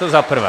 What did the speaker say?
To za prvé.